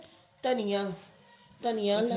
ਧਨੀਆ ਧਨੀਆ